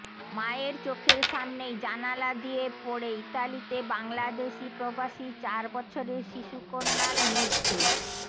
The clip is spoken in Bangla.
মায়ের চোখের সামনেই জানালা দিয়ে পড়ে ইতালিতে বাংলাদেশি প্রবাসীর চার বছরের শিশুকন্যার মৃত্যু